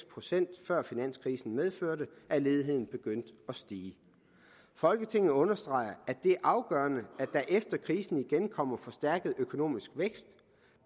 procent før finanskrisen medførte at ledigheden begyndte at stige folketinget understreger at det er afgørende at der efter krisen igen kommer forstærket økonomisk vækst